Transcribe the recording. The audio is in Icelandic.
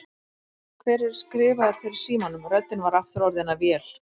Hver er skrifaður fyrir símanum? röddin var aftur orðin að vél.